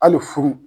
Hali furu